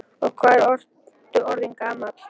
Og hvað ertu orðinn gamall, góði?